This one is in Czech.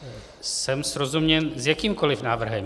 Jsem srozuměn s jakýmkoli návrhem.